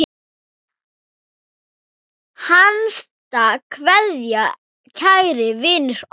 HINSTA KVEÐJA Kæri vinur okkar.